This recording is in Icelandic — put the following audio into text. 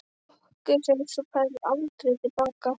Nokkuð sem þú færð aldrei til baka.